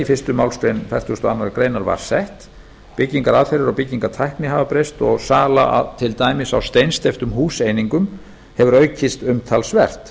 fyrstu málsgrein fertugustu og aðra grein var sett byggingaraðferðir og byggingartækni hafa breyst og sala til dæmis á steinsteyptum húseiningum hefur aukist umtalsvert